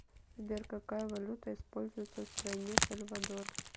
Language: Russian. сбер какая валюта используется в стране сальвадор